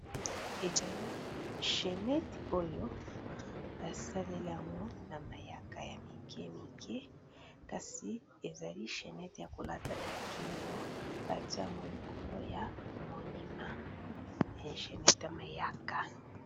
Chenette oyo, ba saleli yango na mayaka ya mike mike. Kasi ezali chenette ya ko lata na kingo. Ba tié yango likolo ya monument. Eza chenette ya mayaka.